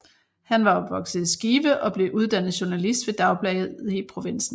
Han var opvokset i Skive og blev uddannet journalist ved dagblade i provinsen